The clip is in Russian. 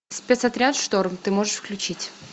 спецотряд шторм ты можешь включить